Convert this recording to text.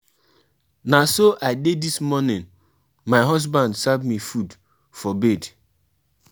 I explain to my wife say no be only me be the only man wey marry two wives and e even dey for bible